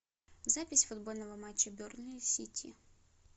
запись футбольного матча бернли сити